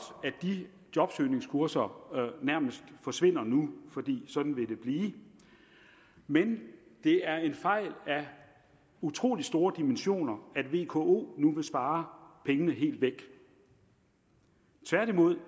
at de jobsøgningskurser nærmest forsvinder nu for sådan vil det blive men det er en fejl af utrolig store dimensioner at vko nu vil spare pengene helt væk tværtimod